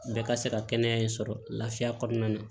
Bɛɛ ka se ka kɛnɛya in sɔrɔ lafiya kɔnɔna na